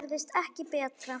Gerist ekki betra!